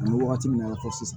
An bɛ wagati min na i n'a fɔ sisan